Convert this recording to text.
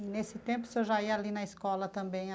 E, nesse tempo, o senhor já ia ali na escola também?